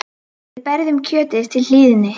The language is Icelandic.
Við berjum kjötið til hlýðni.